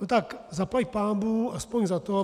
No tak zaplať pánbůh aspoň za to.